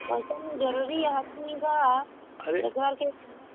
ପଇସା ବି ଜରୁରୀ କିନ୍ତୁ